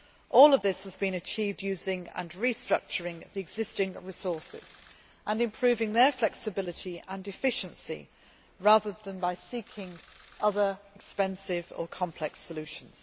All of this has been achieved using and restructuring the existing resources and improving their flexibility and efficiency rather than by seeking other expensive and complex solutions.